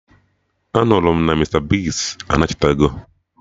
Anụrụ m na Mista Bigz anachitego